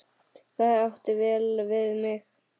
Það átti vel við mig.